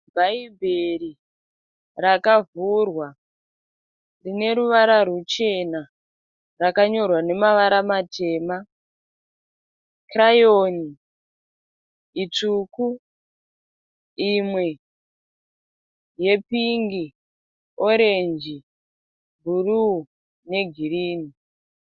Bhaibheri rakavhurwa rineruvara ruchena rakanyorwa namavara matema. Kirayoni itsvuku imwe yepingi, orenji, bhuruu negirini.